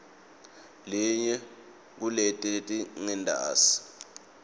yinye kuleti letingentasi